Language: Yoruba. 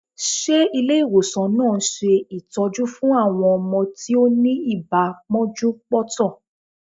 Ṣe Ilé ìwòsàn náà ń ṣe ìtọ́jú fún àwọn ọmọ tí ó ni ibà pọ́njú-pọ́ntọ̀?